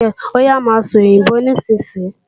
Óyá máa sòyìnbó nísinsìnyí!